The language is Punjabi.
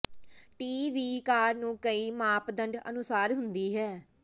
ਟੀ ਵੀ ਕਾਰ ਨੂੰ ਕਈ ਮਾਪਦੰਡ ਅਨੁਸਾਰ ਹੁੰਦੀ ਹੈ